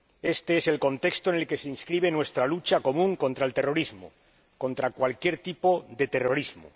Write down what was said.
Este es el contexto en el que se inscribe nuestra lucha común contra el terrorismo, contra cualquier tipo de terrorismo.